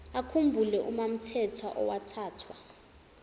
akhumbule umamthethwa owathathwa